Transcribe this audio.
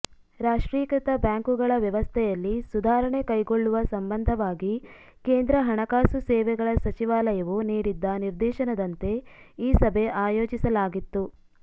ರಾಷ್ಟ್ರೀಕೃತ ಬ್ಯಾಂಕುಗಳ ವ್ಯವಸ್ಥೆಯಲ್ಲಿ ಸುಧಾರಣೆ ಕೈಗೊಳ್ಳುವ ಸಂಬಂಧವಾಗಿ ಕೇಂದ್ರ ಹಣಕಾಸು ಸೇವೆಗಳ ಸಚಿವಾಲಯವು ನೀಡಿದ್ದ ನಿರ್ದೇಶನದಂತೆ ಈ ಸಭೆ ಆಯೋಜಿಸಲಾಗಿತ್ತು